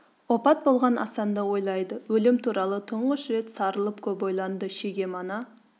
опат болған асанды ойлайды өлім туралы тұңғыш рет сарылып көп ойланды шеге мана